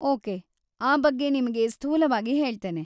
Okay, ಆ ಬಗ್ಗೆ ನಿಮಗೆ ಸ್ಥೂಲವಾಗಿ ಹೇಳ್ತೇನೆ.